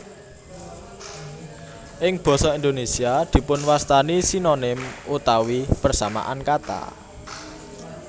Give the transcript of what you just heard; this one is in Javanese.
Ing basa Indonesia dipun wastani Sinonim utawi persamaan kata